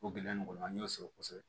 O gɛlɛya nin kɔnɔ an y'o sɔrɔ kosɛbɛ